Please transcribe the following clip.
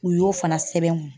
U y'o fana sɛbɛn n kun.